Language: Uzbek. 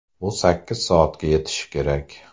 Bu sakkiz soatga yetishi kerak.